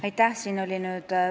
Aitäh!